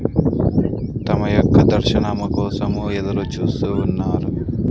తమ యొక్క దర్శనము కోసం ఎదురు చూస్తు ఉన్నారు.